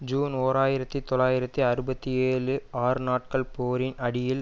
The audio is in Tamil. ஜூன் ஓர் ஆயிரத்தி தொள்ளாயிரத்தி அறுபத்தி ஏழு ஆறு நாட்கள் போரின் அடியில்